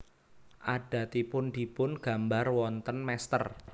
Adatipun dipun gambar wonten mestèr